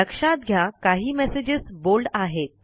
लक्षात घ्या काही मेसेजस बोल्ड आहेत